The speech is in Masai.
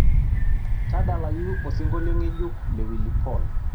tadalayu osingolio ng'ejuk le willy paul